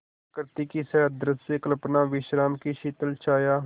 प्रकृति की सहृदय कल्पना विश्राम की शीतल छाया